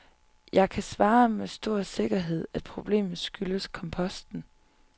Jeg kan svare med stor sikkerhed, at problemet skyldes komposten.